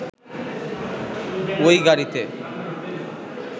ওই গাড়িতে